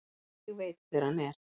Ég veit hver hann er.